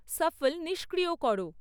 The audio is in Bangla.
শাফল্ নিষ্ক্রিয় করো